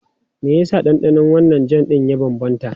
Me yasa ɗanɗanon wannan jam ɗin ya bambanta?